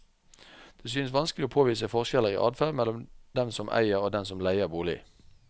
Det synes vanskelig å påvise forskjeller i adferd mellom dem som eier og dem som leier bolig.